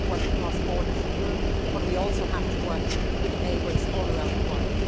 We have to work across borders in Europe and we also have to work with neighbours all around the world.